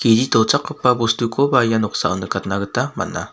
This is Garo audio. tochakgipao bostukoba ia noksao nikatna gita man·a.